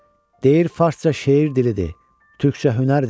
Deyir Farsça şeir dilidir, Türkcə hünər dili.